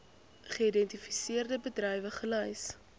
geïdentifiseerde bedrywe gelys